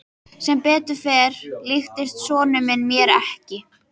Sem betur fór líktist sonur minn mér ekki.